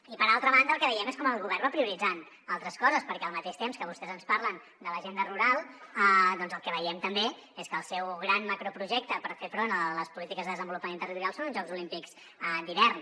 i per altra banda el que veiem és com el govern va prioritzant altres coses perquè al mateix temps que vostès ens parlen de l’agenda rural el que veiem també és que el seu gran macroprojecte per fer front a les polítiques de desenvolupament territorial són uns jocs olímpics d’hivern